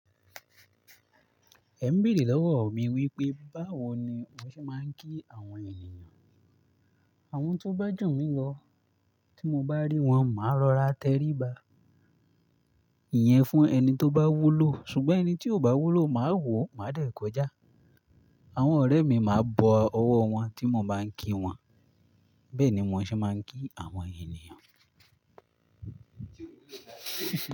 Ẹ ń béèrè lọ́wọ́ mi wípé, báwo ni mó ṣe máa ń kí àwọn ènìyàn? Àwọn tó ba ju mi lọ, tí mo bá rí wọn, màá rọra tẹríba. Iyẹn fún ẹni tó bá wúlò, ṣùgbọ́n ẹni tí ò bá wúlò, màá wò, màá dẹ̀ kọjá. Àwọn ọ̀rẹ́ mi máa bọ ọwọ́ wọn tí mo bá ń kí wọn. Bẹ́ẹ̀ ni món ṣe máa ń kí àwọn ènìyàn.